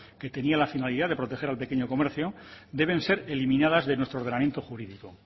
que tenía la finalidad de proteger al pequeño comercio deben ser eliminadas de nuestro ordenamiento jurídico